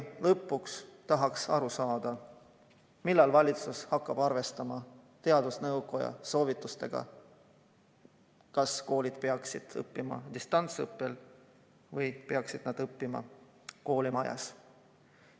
Ja lõpuks tahaks aru saada, millal valitsus hakkab arvestama teadusnõukoja soovitustega selle kohta, kas koolid peaksid olema distantsõppel või peaksid lapsed õppima koolimajas.